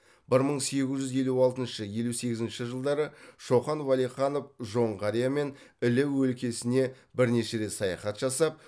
бір мың сегіз жүз елу алтыншы елу сегізінші жылдары шоқан уәлиханов жоңғария мен іле өлкесіне бірнеше рет саяхат жасап